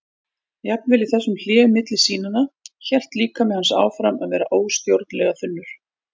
Jafnvel í þessum hléum milli sýnanna hélt líkami hans áfram að vera óstjórnlega þungur.